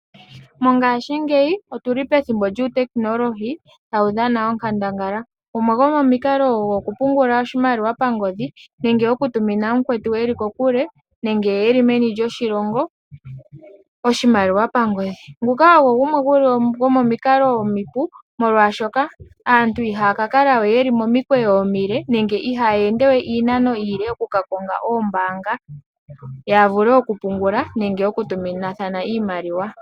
Mongashingeyi otu li pethimbo lyuutekinolohi tawu dhana onkandangala. Gumwe gomomikalo ogo okupungula oshimaliwa pangodhi nenge okutumina mukwetu e li kokule nenge e li meni lyoshilongo oshimaliwa pangodhi. Nguka ogo gumwe gomomikalo omipu, molwashoka aantu ihaya ka kala we ye li momikweyo omile nenge ihaya ende we iinano iile oku ka konga oombaanga ya vule okupungula nenge okutuminathana iimaliwa.